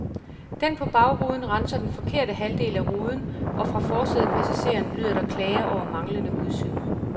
Den på bagruden renser den forkerte halvdel af ruden og fra forsædepassageren lyder der klager over manglende udsyn.